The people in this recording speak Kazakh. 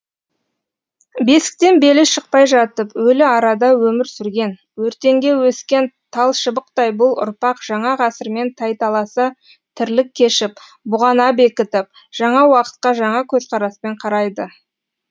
бесіктен белі шықпай жатып өлі арада өмір сүрген өртеңге өскен талшыбықтай бұл ұрпақ жаңа ғасырмен тайталаса тірлік кешіп бұғана бекітіп жаңа уақытқа жаңа көзқараспен қарайды